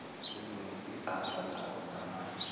izandla zakho ngamanzi